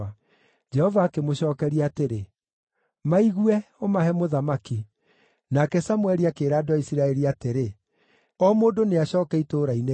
Jehova akĩmũcookeria atĩrĩ, “Maigue, ũmahe mũthamaki.” Nake Samũeli akĩĩra andũ a Isiraeli atĩrĩ, “O mũndũ nĩacooke itũũra-inĩ rĩake.”